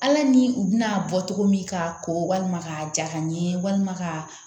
Ala ni u bɛna bɔ cogo min k'a ko walima k'a ja ka ɲɛ walima ka